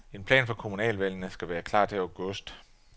En plan for kommunalvalgene skal være klar til august.